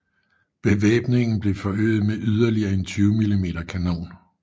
Bevæbningen blev forøget med yderligere en 20 mm kanon